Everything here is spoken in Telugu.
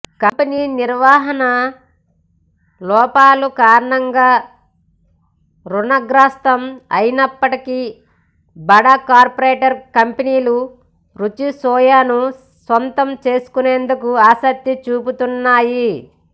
కంపెనీ నిర్వాహణ లోపాల కారణంగా రుణగ్రస్తం అయినప్పటికీ బడా కార్పోరేట్ కంపెనీలు రుచిసోయాను సొంతం చేసుకునేందుకు ఆసక్తి చూపుతున్నాయి